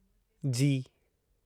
जी